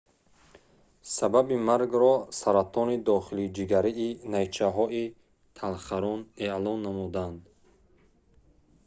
сабаби маргро саратони дохилиҷигарии найчаҳои талхарон эълон намуданд